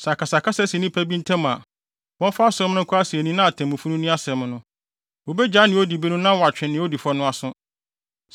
Sɛ akasakasa si nnipa bi ntam a, wɔmfa asɛm no nkɔ asennii na atemmufo no nni asɛm no. Wobegyaa nea odi bem no na wɔatwe de odi fɔ no aso.